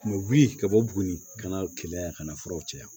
U bɛ wuli ka bɔ buguni ka na keleya yan ka na furaw cɛya